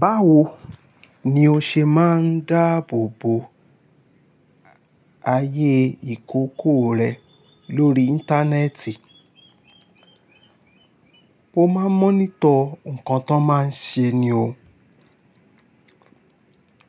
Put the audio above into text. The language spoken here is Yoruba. Báwo ni o ṣe máa ń dáàbò bo ayé ìkókó rẹ lórí íńtánẹ́ẹ̀tì? Mo máa ń monitor nǹkan t'ọ́n máa ń ṣe ni o.